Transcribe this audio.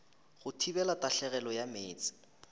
go thibela tahlegelo ya meetse